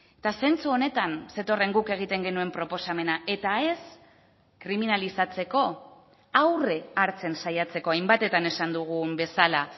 eta zentzu honetan zetorren guk egiten genuen proposamena eta ez kriminalizatzeko aurre hartzen saiatzeko hainbatetan esan dugun bezala